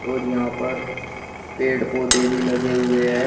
और यहां पर पेड़ पौधे भी लगे हुए हैं।